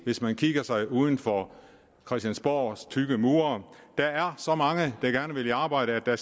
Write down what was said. hvis man kigger uden for christiansborgs tykke mure der er så mange der gerne vil i arbejde at det